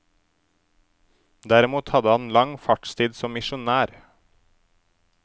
Derimot hadde han lang fartstid som misjonær.